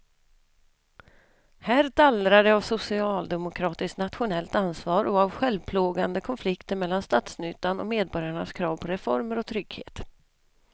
Här dallrar det av socialdemokratiskt nationellt ansvar och av självplågande konflikter mellan statsnyttan och medborgarnas krav på reformer och trygghet.